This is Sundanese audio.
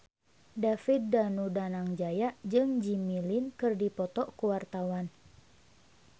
David Danu Danangjaya jeung Jimmy Lin keur dipoto ku wartawan